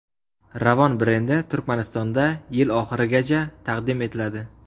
Ravon brendi Turkmanistonda yil oxirigacha taqdim etiladi.